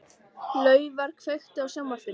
Laufar, kveiktu á sjónvarpinu.